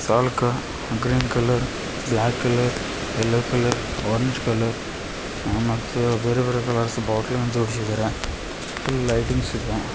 ಅಲ್ಕ green colour black colour yellow colour orange colour ಆ ಮತ್ತು ಬೇರೆಬೇರೆ ಕಲರ್ಸ್ ಬಾಟಲ್ ಜೋಡಿಸಿದ್ದಾರೆ. ಫುಲ್ ಲೈಟಿಂಗ್ಸ್ ಇದೆ.